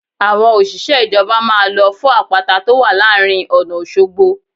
Àwọn òṣìṣẹ́ ìjọba máa lọ fọ́ àpáta tó wà láàrin ọ̀nà Òṣogbo